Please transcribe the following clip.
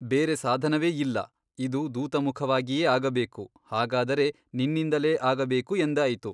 ಬೇರೇ ಸಾಧನವೇ ಇಲ್ಲ ಇದು ದೂತಮುಖವಾಗಿಯೇ ಆಗಬೇಕು ಹಾಗಾದರೆ ನಿನ್ನಿಂದಲೇ ಆಗಬೇಕು ಎಂದಾಯಿತು.